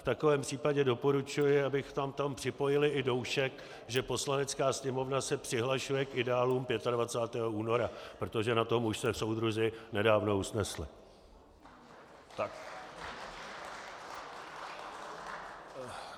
V takovém případě doporučuji, abychom tam připojili i doušek, že Poslanecká sněmovna se přihlašuje k ideálům 25. února, protože na tom už se soudruzi nedávno usnesli.